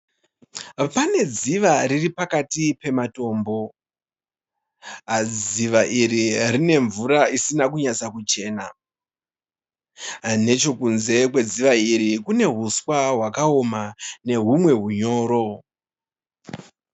Pane dziva riripakati pematombo. Dziva iri rine mvura isina kunyatsakuchena Nechekunze kwedziva iri kune huswa hwakaoma neumwe hunyoro.